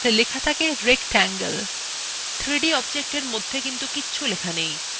আমরা কিন্তু 3d objectsএর মধ্যে কিছু লিখতে পারিনা